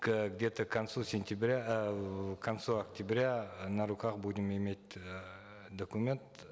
к где то к концу сентября э к концу октября на руках будем иметь эээ документ